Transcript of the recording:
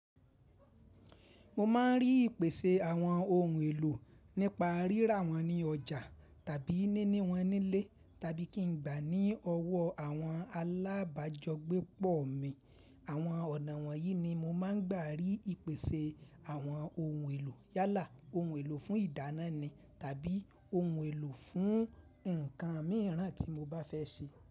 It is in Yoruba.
Mo máa ń rí ìpèsè àwọn ohun èlò nípa rírà wọ́n ní ọjà tàbí níní wọn nílé tàbí kí n gbà á ní ọwọ́ àwọn alábájọ́gbépọ̀ mi. Àwọn ọ̀nà wọ̀nyí ni mo máa ń gbà rí ìpèsè àwọn ohun èlò yálà, ohun èlò fún ìdáná ni tàbí ohun èlò fún nǹkan mìíràn tí mo bá fẹ́ ṣe.